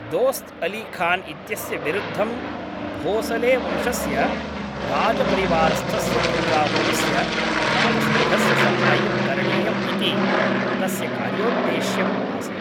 दोस्त् अली खान् इत्यस्य विरुद्धं भोसलेवंशस्य राजपरिवारस्थस्य तञ्जावूरस्य प्रतापसिङ्घस्य साहाय्यं करणीयम् इति तस्य कार्योद्देश्यम् आसीत्